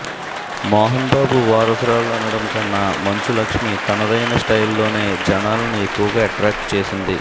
మోహన్ బాబు వారసురాలు అనడం కన్నా మంచు లక్ష్మి తనదైన స్టైల్ లోనే జనాలను ఎక్కువగా ఎట్రాక్ట్ చేసింది